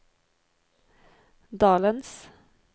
dalens